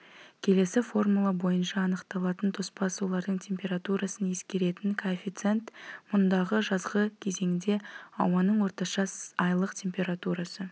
келесі формула бойынша анықталатын тоспа сулардың температурасын ескеретін коэффициент мұндағы жазғы кезеңде ауаның орташа айлық температурасы